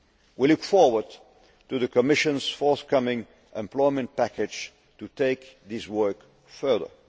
We look forward to the Commission's forthcoming employment package' to take this work further.